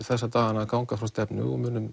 þessa dagana að ganga frá stefnu og munum